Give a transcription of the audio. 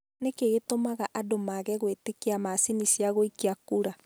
Nĩ kĩĩ gĩtũmaga andũ maage gwĩtĩkia macini cia gũikia kura?